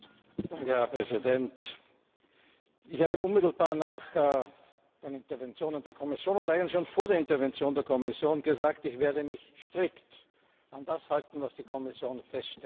Herr Präsident! Ich habe unmittelbar nach der Intervention der Kommission oder eigentlich schon vor der Intervention der Kommission gesagt, ich werde mich strikt an das halten, was die Kommission feststellt.